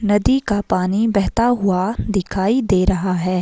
नदी का पानी बहता हुआ दिखाई दे रहा है।